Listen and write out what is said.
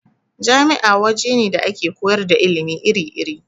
Jami'a waje ne da ake koyar da ilimi iri-iri.